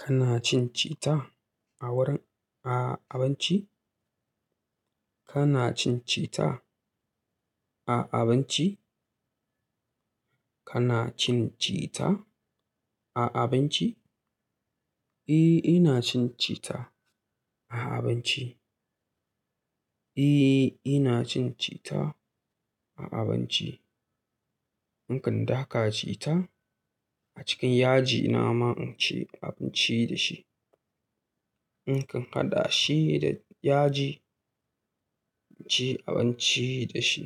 Kana cin cita a wurin, a abinci? Kana cin cita a abinci? Kana cin cita a abinci? Eh, ina cin citta a abinci. Eh, ina cin cita a abinci. In kan daka cita a cikin yaji, nama in ci abinci da shi. In kan haɗa shi da yaji, in ci abinci da shi.